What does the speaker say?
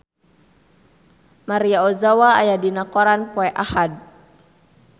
Maria Ozawa aya dina koran poe Ahad